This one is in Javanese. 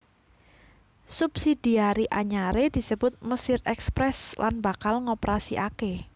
Subsidiari anyaré disebut Mesir Express lan bakal ngoperasikaké